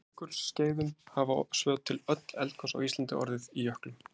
Á jökulskeiðum hafa svo til öll eldgos á Íslandi orðið í jöklum.